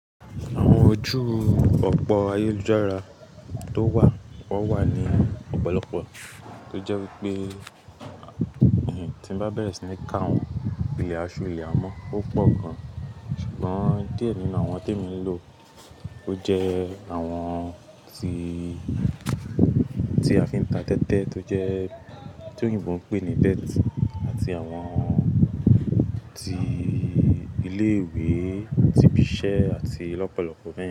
Àwọn ojú ọ̀pọ̀ ayélujára tó wà, wọ́n wà ní ọ̀pọ̀lọpọ̀ tó jẹ́ wípé ènìyàn tí ń bá bẹ̀rẹ̀ sí ní ka àwọn ìlẹ̀ àṣù ìlẹ̀ amọ́, ó pọ̀ gan-an ṣùgbọ́n díẹ̀ nínú àwọn tí emi ń lò ó jẹ́ àwọn tí, tí a fi ń ta tẹ́tẹ́ tó jẹ́ tí òyìnbó ń pè ní debt àti àwọn tí ilé ìwé, tibisẹ́ àti lọ́pọ̀lọpọ̀ méjì.